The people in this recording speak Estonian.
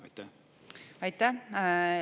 Aitäh!